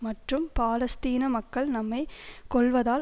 மற்றும் பாலஸ்தீன மக்கள் நம்மை கொல்வதால்